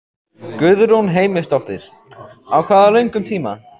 Guðrún Heimisdóttir: Á hvað löngum tíma?